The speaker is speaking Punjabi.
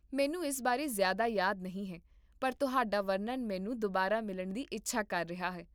ਮੈਨੂੰ ਇਸ ਬਾਰੇ ਜ਼ਿਆਦਾ ਯਾਦ ਨਹੀਂ ਹੈ, ਪਰ ਤੁਹਾਡਾ ਵਰਣਨ ਮੈਨੂੰ ਦੁਬਾਰਾ ਮਿਲਣ ਦੀ ਇੱਛਾ ਕਰ ਰਿਹਾ ਹੈ